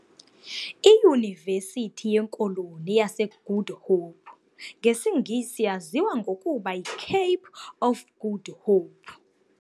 I"Yuniversity yeKoloni yaseGood Hope"' ngesiNgesi yaziwa ngokuba yi-Cape of Good Hope.